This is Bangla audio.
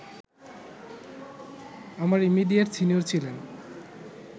আমার ইমিডিয়েট সিনিয়র ছিলেন